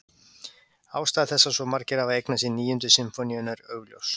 Ástæða þess að svo margir hafa eignað sér Níundu sinfóníuna er augljós.